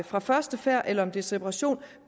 fra første færd eller om det er separation